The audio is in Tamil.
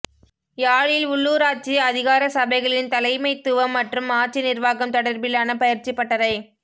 யாழில் உள்ளூராட்சி அதிகார சபைகளின் தலைமைத்துவம் மற்றும் ஆட்சி நிர்வாகம் தொடர்பிலான பயிற்சி பட்டறை